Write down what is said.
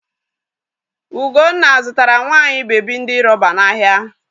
Ugonna zụtara nwa anyị bebi ndi rọba n'ahịa.